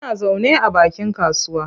Muna zaune a bakin kasuwa.